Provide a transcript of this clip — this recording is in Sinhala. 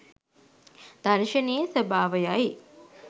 දර්ශනයේ ස්වභාවයයි.